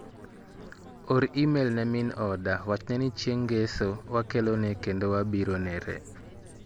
Or imel ne min oda wachne ni chieng' ng'eso wakelone kendo wabiro nere.